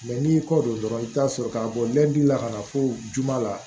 n'i y'i kɔ don dɔrɔn i bi t'a sɔrɔ k'a bɔ lɛde la ka na fo duma la